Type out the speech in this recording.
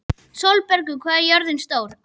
Sólbergur, hvað er jörðin stór?